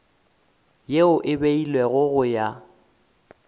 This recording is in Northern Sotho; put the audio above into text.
yeo e beilwego go ya